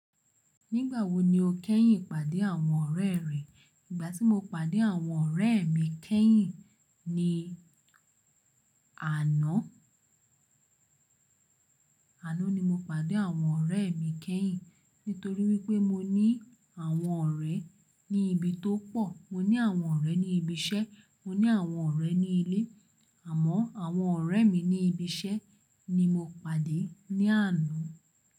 Nígbà wo ni o kẹ́yìn pàdé àwọn ọ̀rẹ́ rẹ? Ìgbà tí mo pàdé àwọn ọ̀rẹ́ mi kẹ́yìn ni àná. Àná ni mo pàdé àwọn ọ̀rẹ́ mi kẹ́yìn. Nítorí wípé mo ní àwọn ọ̀rẹ́ ní ibi tó pọ̀. Mo ní àwọn ọ̀rẹ́ ní ibi iṣẹ́, mo ní àwọn ọ̀rẹ́ ní ilé. Àmọ́ àwọn ọ̀rẹ́ mi ní ibi iṣẹ́ ni mo pàdé ní àná.